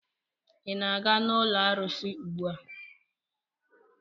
Ị na-aga n'ụlọ arụsị ugbua?